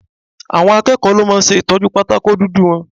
Àwọn akẹ́kọ̀ọ́ ló máa ń ṣe Ìtọ́jú pátákó dúdú wọn.